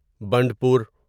Bandipur